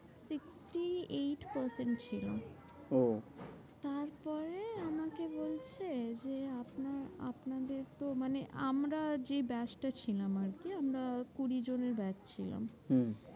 Three eight percent ছিল। ওহ তারপরে আমাকে বলছে যে আপনার আপনাদের তো মানে আমরা যে batch টা ছিলাম আরকি। আমরা কুড়ি জনের batch ছিলাম হম